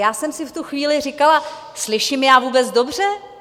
Já jsem si v tu chvíli říkala, slyším já vůbec dobře?